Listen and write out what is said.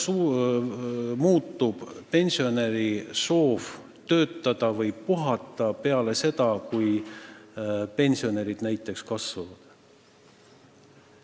Kuidas muutuks pensionäride soov töötada peale seda, kui pensionid rohkem kasvaks?